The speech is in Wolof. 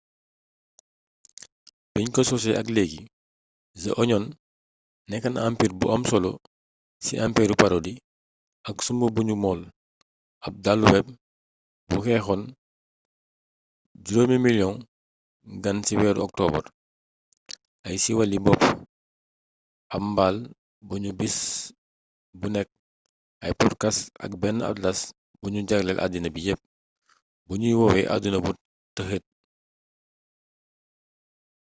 biñ ko sosee ak léegi the onion nekk na ampiir bu am solo ci empiiru parodi ak sumb buñu móol ab daluweb bu xëccoon 5 000 000 gan ci weeru oktoobar ay siiwali bopp ab mbaal buñuy bis bu nekk ay potkast ak benn atlas buñu jagleel addina bi yépp buñuy woowee adduna bu tëxeet